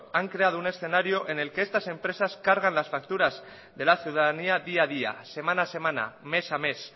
han creado un escenario en el que estas empresas cargan las facturas de la ciudadanía día a día semana a semana mes a mes